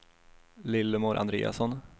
Lillemor Andreasson